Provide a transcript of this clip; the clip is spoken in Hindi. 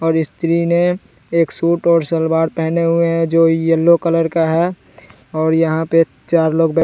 और स्त्री ने एक सूट और सलवार पहने हुए हैं जो येलो कलर का है और यहां पे चार लोग बै--